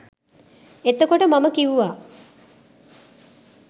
එතකොට මම කිව්වා